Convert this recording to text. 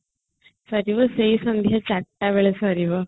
ସରିବ ସେଇ ସନ୍ଧ୍ୟା 4 ଟା ବେଳେ ସରିବ